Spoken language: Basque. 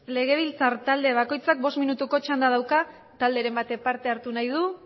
legebiltzar talde bakoitzak bost minutuko txanda dauka talderen batek parte hartu nahi du